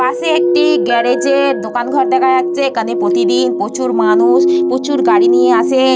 পাশে একটি গ্যারেজের দোকান ঘর দেখা যাচ্ছে। এখানে প্রতিদিন প্রচুর মানুষ প্রচুর গাড়ি নিয়ে আসে।